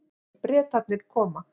Bretarnir koma.